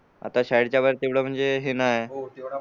आता शाळेच्या बाहेर तेवढं हे नाय